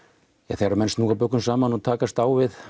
þegar menn snúa bökum saman og takast á við